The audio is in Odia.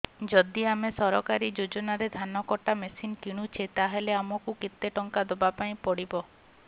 ଯଦି ଆମେ ସରକାରୀ ଯୋଜନାରେ ଧାନ କଟା ମେସିନ୍ କିଣୁଛେ ତାହାଲେ ଆମକୁ କେତେ ଟଙ୍କା ଦବାପାଇଁ ପଡିବ